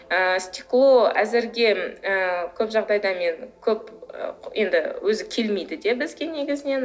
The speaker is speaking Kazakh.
ы стекло әзірге ы көп жағдайда мен көп енді өзі келмейді де бізге негізінен